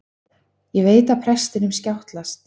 Ég veit að prestinum skjátlast.